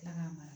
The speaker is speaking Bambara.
Kila k'a mara